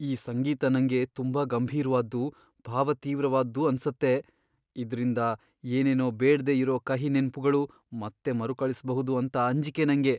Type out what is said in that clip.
ಈ ಸಂಗೀತ ನಂಗೆ ತುಂಬಾ ಗಂಭೀರ್ವಾದ್ದು, ಭಾವತೀವ್ರವಾದ್ದು ಅನ್ಸತ್ತೆ.. ಇದ್ರಿಂದ ಏನೇನೋ ಬೇಡ್ದೇ ಇರೋ ಕಹಿ ನೆನ್ಪುಗಳು ಮತ್ತೆ ಮರುಕಳಿಸ್ಬಹುದು ಅಂತ ಅಂಜಿಕೆ ನಂಗೆ.